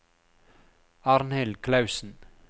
Arnhild Clausen